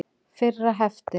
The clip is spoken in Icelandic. Fyrra hefti.